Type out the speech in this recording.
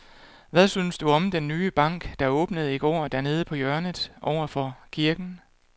Hvad synes du om den nye bank, der åbnede i går dernede på hjørnet over for kirken?